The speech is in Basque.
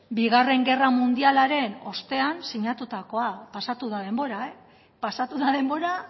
bigarren gerra mundialaren ostean sinatutakoa pasatu da denbora pasatu da denbora